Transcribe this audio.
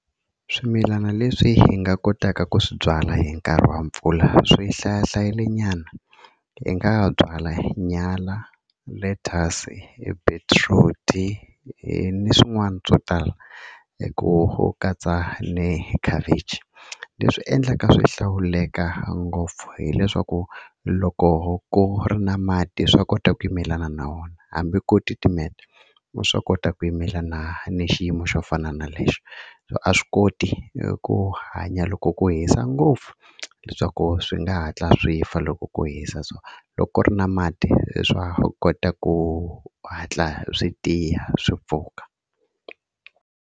Swimilana leswi hi nga kotaka ku swi byala hi nkarhi wa mpfula swi hlaya hlayile nyana hi nga byala nyala lettuce i beetroot-i ni swin'wana swo tala hi ku katsa ni khavichi leswi endlaka swi hlawuleka ngopfu hileswaku loko ku ri na mati swa kota ku yimelana na wona hambi ko titimeta swa kota ku yimelana ni xiyimo xo fana na lexo a swi koti i ku hanya loko ku hisa ngopfu leswaku swi nga hatla swi fa loko ku hisa so loko ku ri na mati se swa va kota ku hatla swi tiya swi pfuka.